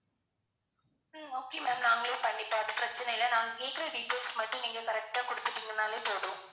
ஹம் okay ma'am நாங்களே பண்ணிப்போம் அது பிரச்சனை இல்ல. நாங்க கேக்குற details மட்டும் நீங்க correct டா கொடுத்துட்டீங்கன்னாலே போதும்.